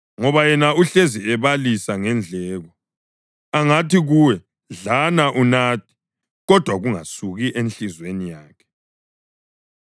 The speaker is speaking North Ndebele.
ngoba yena uhlezi ebalisa ngendleko. Angathi kuwe, “Dlana unathe,” kodwa kungasuki enhliziyweni yakhe.